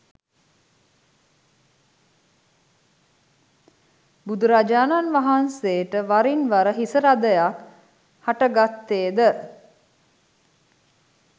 බුදුරජාණන් වහන්සේට වරින් වර හිසරදයක් හටගත්තේ ද